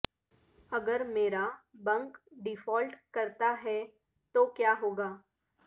اگر میرا bank default کرتا ہے تو کیا ہوگا